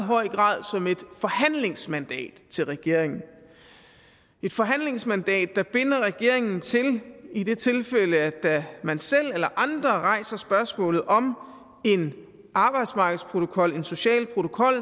grad som et forhandlingsmandat til regeringen et forhandlingsmandat der binder regeringen til i det tilfælde at man selv eller andre rejser spørgsmålet om en arbejdsmarkedsprotokol en social protokol